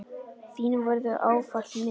Þín verður ávallt minnst.